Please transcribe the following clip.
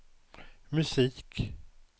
musik